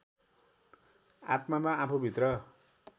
आत्मामा आफूभित्र